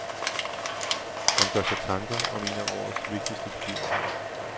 Han gør sig tanker om en af årets vigtigste begivenheder.